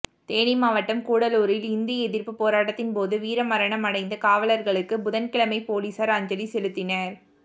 தேனி மாவட்டம் கூடலூரில் இந்தி எதிா்ப்பு போராட்டத்தின் போது வீரமரணம் அடைந்த காவலா்களுக்கு புதன்கிழமை போலீஸாா் அஞ்சலி செலுத்தினா்